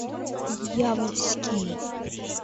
дьявольский